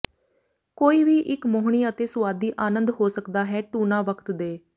ਕੋਈ ਵੀ ਇੱਕ ਮੋਹਣੀ ਅਤੇ ਸੁਆਦੀ ਆਨੰਦ ਹੋ ਸਕਦਾ ਹੈ ਟੁਨਾ ਵਕਤ ਦੇ